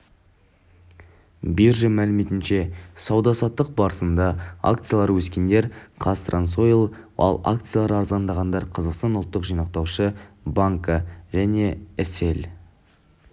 биржа мәліметінше сауда-саттық барысында акциялары өскендер қазтрансойл ал акциялары арзандағандар қазақстан ұлттық жинақтаушы банкі және іселл